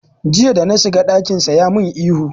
Jiya da na shiga ɗakinsa ya min ihu.